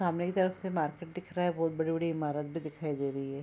सामने की तरफ से मार्केट दिख रहा है बहोत बड़ी-बड़ी ईमारत भी दिखाई दे रही है।